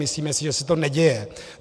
Myslíme si, že se to neděje.